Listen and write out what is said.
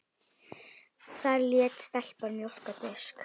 Þar lét stelpan mjólk á disk.